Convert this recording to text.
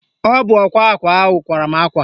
Ọ bụ ọkwa akwa ahụ kwara mụ akwa